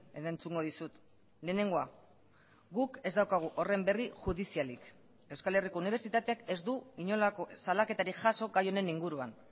erantzungo dizut lehenengoa guk ez daukagu horren berri judizialik euskal herriko unibertsitateak ez du inolako salaketarik jaso gai honen inguruan